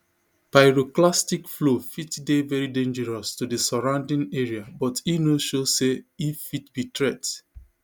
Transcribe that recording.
pyroclastic flow fit dey very dangerous to di surrounding area but e no show say e fit be threat